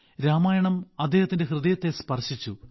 രാമായണം അദ്ദേഹത്തിന്റെ ഹൃദയത്തെ സ്പർശിച്ചു